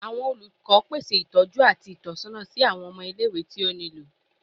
Awọn olukọ pese itọju ati itọsọna si awọn ọmọ ile-iwe ti o nilo